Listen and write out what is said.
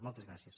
moltes gràcies